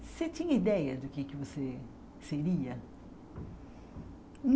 Você tinha ideia do que é que você seria?